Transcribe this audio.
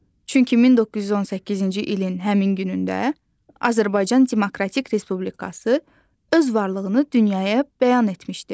Çünki 1918-ci ilin həmin günündə Azərbaycan Demokratik Respublikası öz varlığını dünyaya bəyan etmişdir.